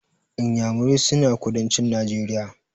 Inyamurai suna kudancin Najeriya.